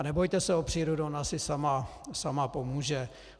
A nebojte se o přírodu, ona si sama pomůže.